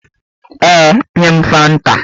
Ee, nye m fanta